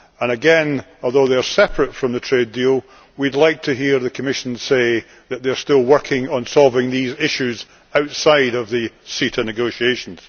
Again, although they are separate from the trade deal, we would like to hear the Commission say that it is still working on solving these issues outside of the CETA negotiations.